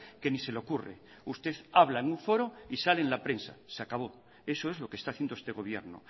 que ni se le ocurre usted habla en un foro y sale en la prensa se acabó eso es lo que está haciendo este gobierno